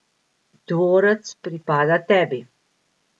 Dvorec pripada tebi!